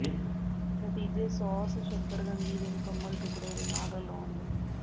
ਨਤੀਜੇ ਸਾਸ ਸ਼ੱਕਰਕੰਦੀ ਦੇ ਮੁਕੰਮਲ ਟੁਕੜੇ ਦੇ ਨਾਲ ਰਲਾਉਣ ਲਈ